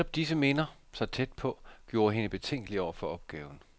Netop disse minder, så tæt på, gjorde hende betænkelig over for opgaven.